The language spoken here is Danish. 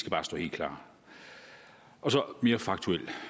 bare stå helt klart mere faktuelt